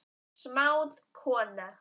Smáð kona